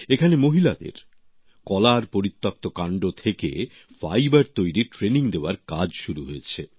এখানে মহিলাদের কলার পরিত্যক্ত কান্ড থেকে ফাইবার তৈরীর ট্রেনিং দেওয়ার কাজ শুরু হয়েছে